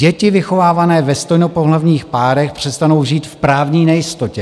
Děti vychovávané ve stejnopohlavních párech přestanou žít v právní nejistotě.